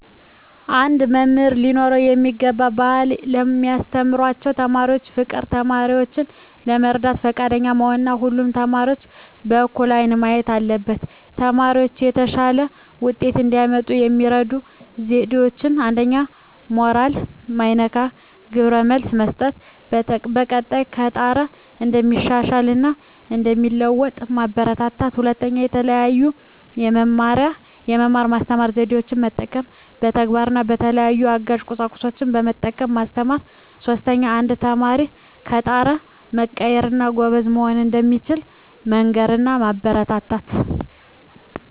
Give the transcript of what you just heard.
አንድ መምህር ሊኖረው የሚገባው ባህሪ ለሚያስተምራቸው ተማሪዎች ፍቅር፣ ተማሪዎችን ለመርዳት ፈቃደኛ መሆን እና ሁሉንም ተማሪዎች በእኩል አይን ማየት አለበት። ተማሪዎች የተሻለ ውጤት እንዲያመጡ የሚረዱ ዜዴዎች 1ኛ. ሞራል ማይነካ ግብረ መልስ መስጠት፣ በቀጣይ ከጣረ እንደሚሻሻል እና እንደሚለዎጡ ማበራታታት። 2ኛ. የተለየ የመማር ማስተማር ዜዴን መጠቀም፣ በተግባር እና በተለያዩ አጋዥ ቁሳቁሶችን በመጠቀም ማስተማር። 3ኛ. አንድ ተማሪ ከጣረ መቀየር እና ጎበዝ መሆን እንደሚችል መንገር እና ማበረታታት።